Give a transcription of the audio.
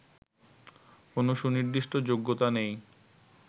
কোন সুনির্দিষ্ট যোগ্যতা নেই